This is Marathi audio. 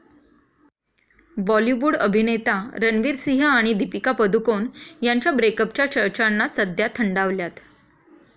बॉलीवूड अभिनेता रणवीर सिंह आणि दीपिका पदुकोण यांच्या ब्रेकअपच्या चर्चांना सध्या थंडावल्यात.